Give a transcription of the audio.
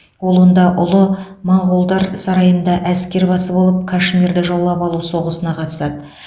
ол онда ұлы моғолдар сарайында әскербасы болып кашмирді жаулап алу соғысына қатысады